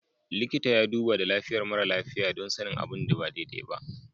Likitan ya duba da lafiyar mara lafiya don sanin abin da ba daidai ba.